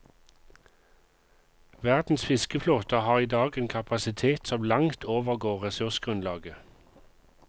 Verdens fiskeflåter har i dag en kapasitet som langt overgår ressursgrunnlaget.